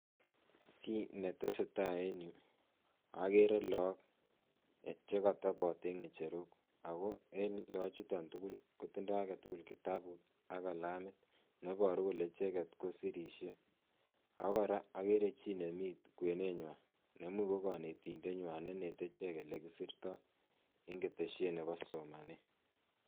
Kiit netesetaa en yuu okeree look chekotobot en ng'echerok ak ko en look chuton tukul kotindo aketukul kitabut ak kilamit neboru kole icheket kosirisie ak ko kora okeree chii nemii kwenenywan neimuuch ko konetindenywan neinete ichek elekisirto en keteshet nebo somanet.